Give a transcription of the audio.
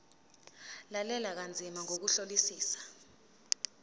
lalela kanzima ngokuhlolisisa